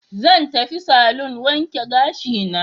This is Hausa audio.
Zan tafi salon wanke gashina.